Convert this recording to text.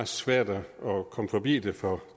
svært at komme forbi det for